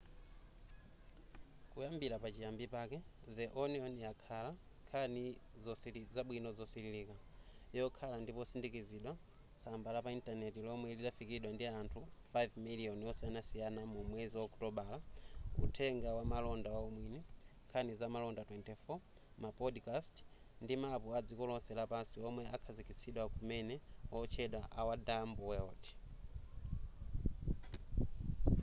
kuyambira pa chiyambi pake the onion yakhala nkhani zabwino zosililika yokhala ndi potsindikizidwa tsamba la pa intaneti lomwe lidafikiridwa ndi anthu 5,000,000 osiyanasiyana mu mwezi wa okutobala uthenga wamalonda waumwini nkhani zamaola 24 ma podcast ndi mapu adziko lonse lapansi omwe akhazikitsidwa kumene otchedwa our dumb world